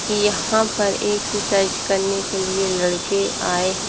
यहां पर एक्सरसाइज करने के लिए लड़के आए हैं।